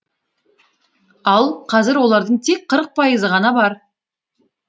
ал қазір олардың тек қырық пайызы ғана бар